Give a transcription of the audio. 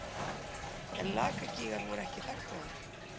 En Lakagígar voru ekki þagnaðir.